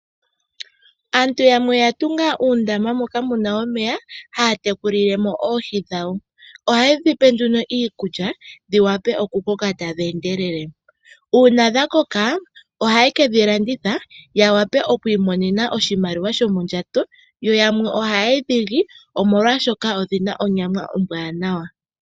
Aantu yamwe oyatunga uundama moka muna omeya haya tekulilemo oohi dhawo. Ohaye dhipe nduno iikulya dhiwape oku koka tadhi endelele ,Uuna dhakoka ohaye kedhi landitha ya wape oku imonena oshimaliwa shomondjato yo yamwe ohaye dhili omolwashoka odhina onyama ombwanawa.